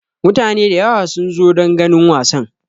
Mutane da yawa sun zo don ganin wasan.